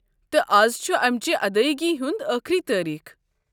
تہٕ از چھُ امچہِ ادٲیگی ہنٛد ٲخری تٲریٖخ۔